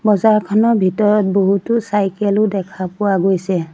বজাৰখনৰ ভিতৰত বহুতো চাইকেল ও দেখা পোৱা গৈছে।